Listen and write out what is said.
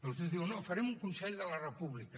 vostès diuen no farem un consell de la república